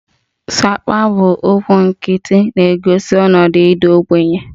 Sapa 'bụ okwu nkịtị na-egosi ọnọdụ ịda ogbenye